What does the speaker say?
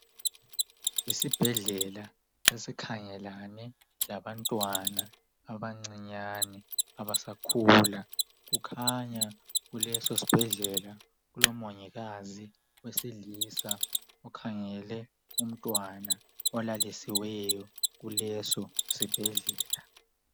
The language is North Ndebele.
Esibhedlela esikhangelane labantwana abancinyane abasakhula kukhanya kulesisibhedlela kulomongikazi wesilisa okhangele umntwana olalisweyo kuleso sibhedlela